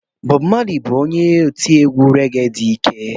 Bobu Mali bụ onye otiegwu rege dị ike.